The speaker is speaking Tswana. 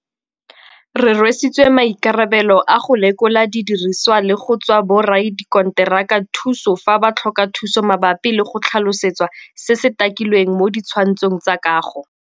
Re rwesitswe maikarabelo a go lekola didirisiwa le go tswa boradikontera ka thuso fa ba tlhoka thuso mabapi le go tlhalosetswa se se takilweng mo di tshwantshong tsa kago.